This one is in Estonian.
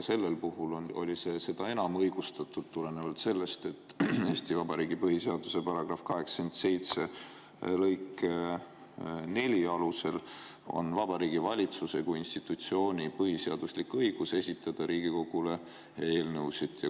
See oli seda enam õigustatud tulenevalt sellest, et Eesti Vabariigi põhiseaduse § 87 4 alusel on Vabariigi Valitsuse kui institutsiooni põhiseaduslik õigus esitada Riigikogule eelnõusid.